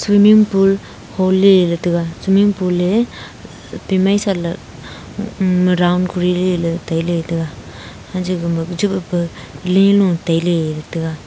swimming pool hohley ley taga swimming pool ley timai saley um round koriley ley tailey ley taiga hancha gama chi boh pa lenu tailey ley taga.